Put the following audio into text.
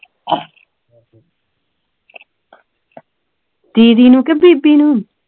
ਦੀਦੀ ਨੂੰ ਕੇ ਬੀਬੀ ਨੂੰ